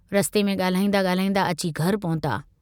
रस्ते में गाल्हाईंदा गाल्हाईंदा अची घर पहुता।